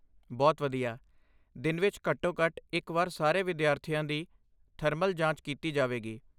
ਬਹੁਤ ਵਧੀਆ! ਦਿਨ ਵਿੱਚ ਘੱਟੋ ਘੱਟ ਇੱਕ ਵਾਰ ਸਾਰੇ ਵਿਦਿਆਰਥੀਆਂ ਦੀ ਥਰਮਲ ਜਾਂਚ ਕੀਤੀ ਜਾਵੇਗੀ